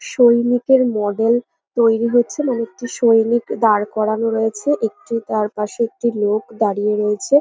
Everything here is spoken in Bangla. সৈনিকের মডেল তৈরি হচ্ছে মানে একটি সৈনিক দাঁড় করানো রয়েছে একটি তার পাশে একটি লোক দাঁড়িয়ে রয়েছে।